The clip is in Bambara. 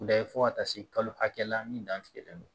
fo ka taa se kalo hakɛ la min dan tigɛlen don